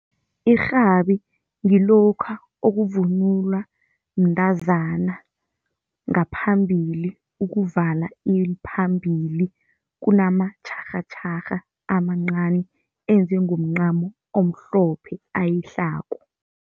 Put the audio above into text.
Irhabi ngilokha okuvunulwa mntazana ngaphambili, ukuvala iliphambili kunamatjharhatjharha amancani, enziwe ngomncamo omhlophe ayihlako.